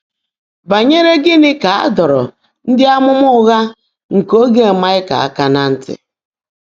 Bányèré gị́ní kà á dọ́ọ́ró ndị́ ámụ́má ụ́ghá nkè óge Máịkà áká ná ntị́?